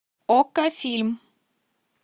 окко фильм